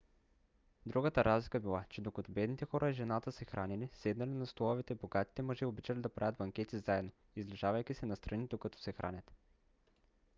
другата разлика била че докато бедните хора и жената се хранели седнали на столове богатите мъже обичали да правят банкети заедно излежавайки се настрани докато се хранят